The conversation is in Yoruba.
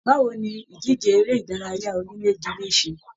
Báwo ní ìdíje eré ìdárayá onílé jile se?